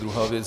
Druhá věc.